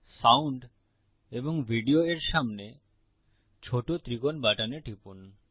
sound এবং video এর সামনে ছোট ত্রিকোণ বাটনে টিপুন